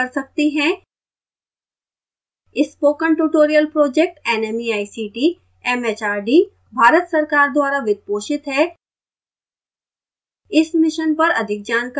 spoken tutorial project nmeict mhrd Bharat सरकार द्वारा वित्त पोषित है इस मिशन पर अधिक जानकारी दिखाए गए लिंक पर उपलब्ध है